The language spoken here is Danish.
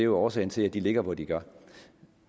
årsagen til at de ligger hvor de gør